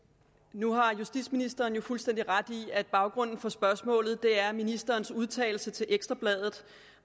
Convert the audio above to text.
nu har justitsministeren jo fuldstændig ret i at baggrunden for spørgsmålet er ministerens udtalelser til ekstra bladet